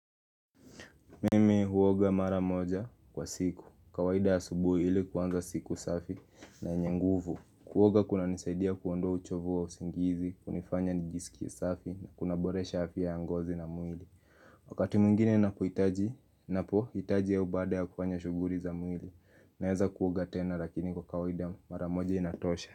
Mimi huoga mara moja kwa siku. Kawaida ya asubuhi ili kuanza siku safi na yenye nguvu. Kuoga kuna nisaidia kuondoa uchovu wa usingizi, kunifanya nijisikie safi na kunaboresha afya ya ngozi na mwili. Wakati mwingine napohitaji, napohitaji au baada ya kufanya shughuli za mwili. Naweza kuoga tena lakini kwa kawaida mara moja inatosha.